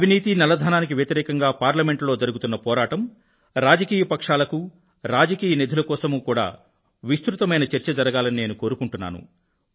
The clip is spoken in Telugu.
అవినీతి నల్లధనానికి వ్యతిరేకంగా పార్లమెంట్ లో జరుగుతున్న పోరాటం రాజకీయ వర్గాలకూ రాజకీయ నిధుల కోసమూ విస్తృతమైన చర్చ జరగాలని నేను కోరుకుంటున్నాను